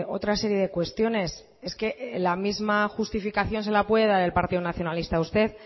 otra serie de cuestiones es que la misma justificación se la puede dar el partido nacionalista a usted